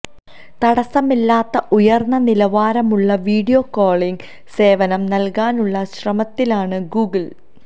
തടസ്സമില്ലാത്ത ഉയർന്ന നിലവാരമുള്ള വീഡിയോ കോളിംഗ് സേവനം നൽകാനുള്ള ശ്രമത്തിലാണ് ഗൂഗിൾ